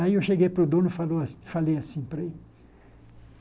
Aí eu cheguei para o dono e falou a falei assim para ele.